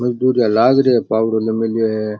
मजदूरिया लाग रिया है पावड़ो ले मेल्यो है।